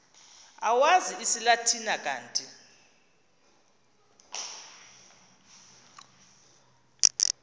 owazi isilatina kanti